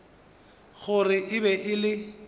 gore e be e le